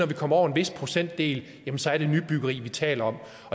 vi kommer over en vis procentdel så er det nybyggeri vi taler om